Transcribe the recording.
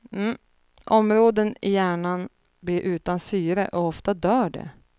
Områden i hjärnan blir utan syre och ofta dör det.